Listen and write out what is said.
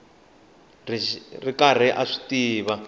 ri karhi a swi tiva